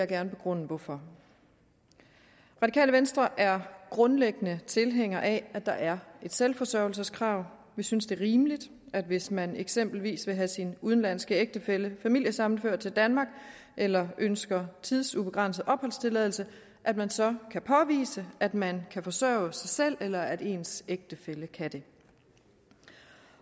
gerne begrunde hvorfor radikale venstre er grundlæggende tilhænger af at der er et selvforsørgelseskrav vi synes det er rimeligt hvis man eksempelvis vil have sin udenlandske ægtefælle familiesammenført til danmark eller ønsker tidsubegrænset opholdstilladelse at man så kan påvise at man kan forsørge sig selv eller at ens ægtefælle kan det